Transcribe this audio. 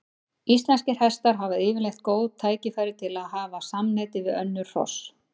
Íslenskir hestar hafa yfirleitt góð tækifæri til að hafa samneyti við önnur hross.